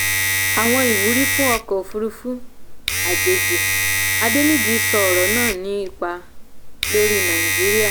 àwọn ìwúrí fún ọkọ̀ òfúrufú àjèjì; adeniji sọ ọ̀rọ̀ náà ní ipa lórí nàìjíríà.